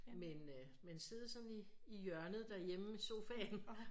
Men øh men sidde sådan i hjørnet derhjemme i sofaen